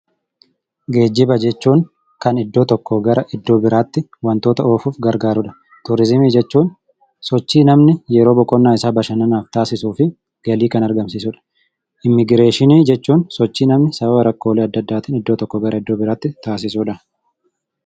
Geejjiba jechuun kan iddoo tokkoo gara iddoo biraatti wantoota oofuuf gargaarudha. Turiizimii jechuun sochii namni yeroo boqonnaa isaa taasisuu fi galii kannargamsiisudha. Immigireeshinii jechuun sochii namni sababa rakkoo adda addaatiin iddoo tokkoo gara iddoo biraatti taasisudha.